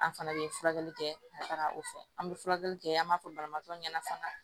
An fana bɛ furakɛli kɛ ka taga o fɛ an bɛ furakɛli kɛ an b'a fɔ banabagatɔ ɲɛna fana